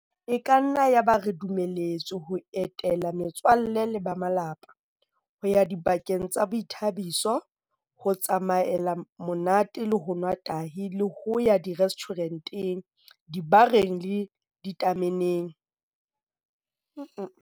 E ka nna ya ba re dumeletswe ho etela me tswalle le ba malapa, ho ya dibakeng tsa boithabiso, ho tsamaela monate le ho nwa tahi le ho ya direstjhure nteng, dibareng le ditame neng.